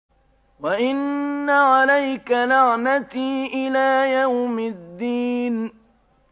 وَإِنَّ عَلَيْكَ لَعْنَتِي إِلَىٰ يَوْمِ الدِّينِ